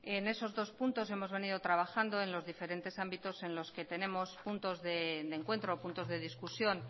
en esos dos puntos hemos venido trabajando en los diferentes ámbitos en los que tenemos puntos de encuentro puntos de discusión